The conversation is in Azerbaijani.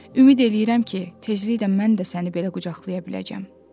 Ümid eləyirəm ki, tezliklə mən də səni belə qucaqlaya biləcəm.